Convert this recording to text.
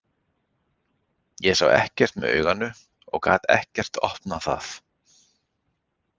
Ég sá ekkert með auganu og gat ekkert opnað það.